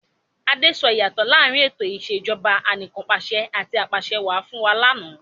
Adé sọ ìyàtọ̀ láàrín ètò ìsèjọba anìkanpàṣẹ àti apàṣẹwà fún wa ní àná.